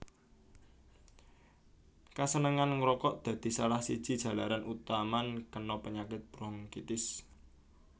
Kasenengan ngrokok dadi salah siji jalaran utaman kena penyakit bronkitis